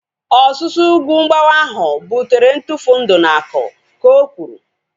Ọsusu ugwu mgbawa ahu butere ntufu ndị na aku, ka o kwuru